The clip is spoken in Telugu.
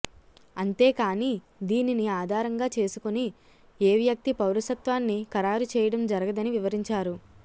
అంతేకానీ దీనిని ఆధారంగా చేసుకుని ఏ వ్యక్తి పౌరసత్వాన్ని ఖరారు చేయడం జరగదని వివరించారు